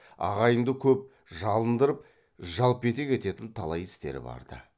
ағайынды көп жалындырып жалпетек ететін талай істері барды